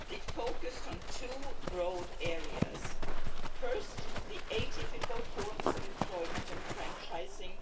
It focused on two broad areas first, atypical forms of employment and franchising